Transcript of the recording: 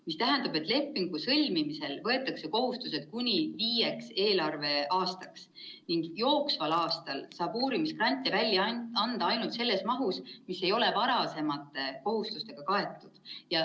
See tähendab, et lepingu sõlmimisel võetakse kohustused kuni viieks eelarveaastaks ning jooksval aastal saab uurimisgrante välja anda ainult selles mahus, mis ei ole varasemate kohustustega kaetud.